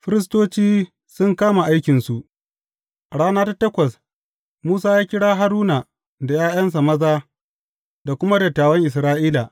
Firistoci sun kama aikinsu A rana ta takwas, Musa ya kira Haruna da ’ya’yansa maza da kuma dattawan Isra’ila.